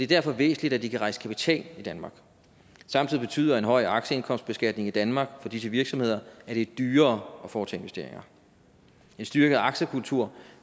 derfor væsentligt at de kan rejse kapital i danmark samtidig betyder en høj aktieindkomstbeskatning i danmark for disse virksomheder at det er dyrere at foretage investeringer en styrket aktiekultur